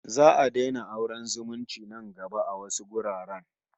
Za'a daina auren zumunci nan gaba a wasu wuraren